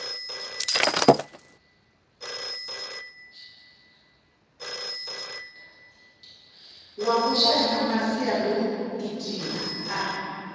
wa vhushai na masiandaitwa a